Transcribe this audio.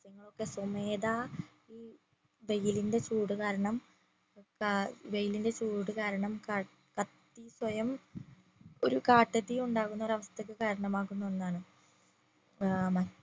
ഒക്കെ സ്വമേധ ഈ വെയിലിന്റെ ചൂട് കാരണം ക ഏർ വെയിലിന്റെ ചൂടുകാരണം കത്തി സ്വയം ഒരു കാട്ടു തീ ഉണ്ടാകുന്ന ഒരവസ്ഥക്ക് കാരണമാകുന്ന ഒന്നാണ്